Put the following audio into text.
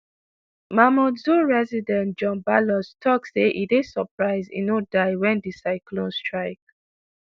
mamoudzou resident john balloz tok say e dey surprise e no die wen di cyclone strike.